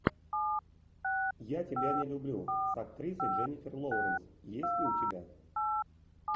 я тебя не люблю с актрисой дженнифер лоуренс есть ли у тебя